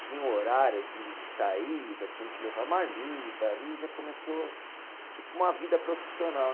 Tinha horário de de saída, tinha que levar marmita, ali já começou tipo uma vida profissional.